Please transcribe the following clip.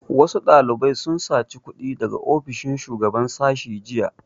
Wasu ɗalibai sun saci kuɗi daga ofishin shugaban sashi jiya